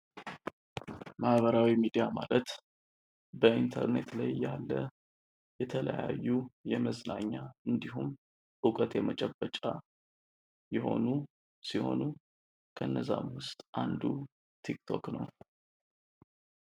ማህበራዊ ሚዲያ ማለት በኢንተርኔት ላይ ያለ የተለያዩ የመዝናኛ እንድሁም ዕውቀት የመጨበጫ የሆኑ ሲሆኑ ከእነዚያም ውስጥ አንዱ ቲክቶክ ነው።